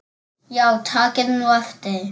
Já takið nú eftir.